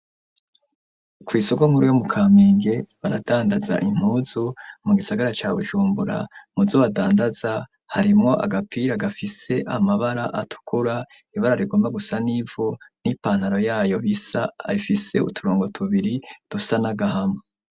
Kwi soko nkuru yo mu Kamenge baradandaza impuzu mu gisagara ca Bujumbura muzo badandaza harimo agapira gafise amabara atukura ibara rigomba gusa n'ivu n'ipantaro yayo bisa ifise uturongo tubiri dusa nagahama.